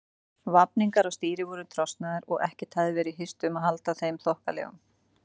Vafningar á stýri voru trosnaðir og ekkert hafði verið hirt um að halda þeim þokkalegum.